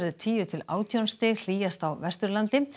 tíu til átján stig hlýjast á Vesturlandi